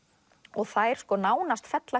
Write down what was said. og þær nánast fella